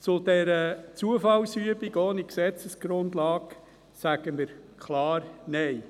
– Zu dieser Zufallsübung ohne Gesetzesgrundlage sagen wir klar Nein.